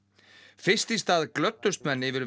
fyrst í stað glöddust menn yfir